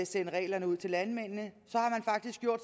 sende reglerne ud til landmændene